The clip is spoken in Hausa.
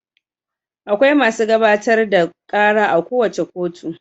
Akwai masu gabatar da ƙara a kowace kotu.